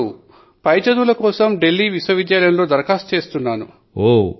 ఇప్పుడు పై చదువుల కోసం దిల్లీ విశ్వవిద్యాలయం లో దరఖాస్తు చేస్తున్నాను